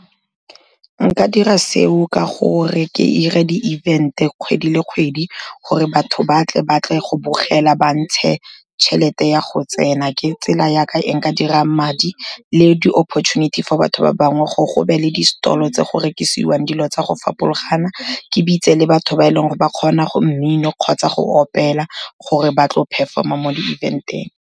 Nka dira seo ka gore ke 'ire di event-e kgwedi le kgwedi, gore batho batle, batle go bogela ba ntshe tšhelete ya go tsena, ke tsela ya ka e nka dira madi. Le di opportunity for batho ba bangwe, go be le distalo tse go rekisiwang dilo tsa go fapologana, ke bitse le batho ba e leng gore ba kgona mmino kgotsa go opela, gore ba tlo perform-a mo di-event-eng.